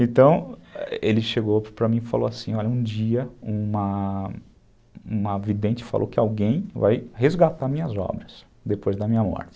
Então, ele chegou para mim e falou assim, olha, um dia uma vidente falou que alguém vai resgatar minhas obras depois da minha morte.